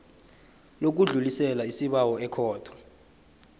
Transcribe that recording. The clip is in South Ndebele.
lokudlulisela isibawo ekhotho